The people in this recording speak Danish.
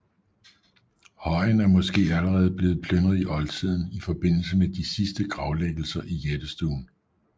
Højen er måske allerede blevet plyndret i oldtiden i forbindelse med de sidste gravlæggelser i jættestuen